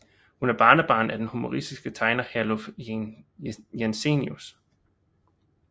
Hun er barnebarn af den humoristiske tegner Herluf Jensenius